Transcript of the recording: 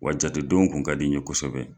Wa jate denw kun ka di n ye kosɛbɛ.